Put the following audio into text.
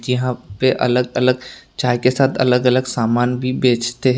यहां पे अलग अलग चाय के साथ अलग अलग सामान भी बेचते हैं।